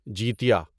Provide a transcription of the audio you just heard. جیتیہ